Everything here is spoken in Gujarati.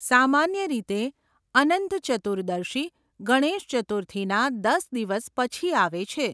સામાન્ય રીતે, અનંત ચતુર્દશી ગણેશ ચતુર્થીના દસ દિવસ પછી આવે છે.